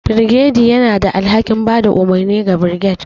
Birgediy yana da alhakin ba da umarni ga birged,